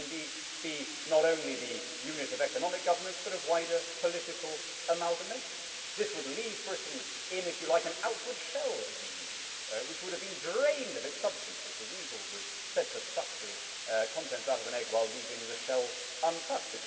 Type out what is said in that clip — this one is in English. It should indeed be not only the unit of economic governance, but of wider political amalgamation. This would leave Britain in, if you like, an outward shell of the EU which would have been drained of its substance, as the weasel was said to suck the contents out of an egg while leaving the shell untouched.